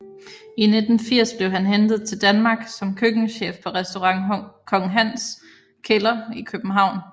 I 1980 blev han hentet til Danmark som køkkenchef på restaurant Kong Hans Kælder i København